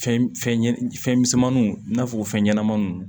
Fɛn fɛn ɲɛnɛ fɛn misɛnmaninw i n'a fɔ fɛn ɲɛnamaninw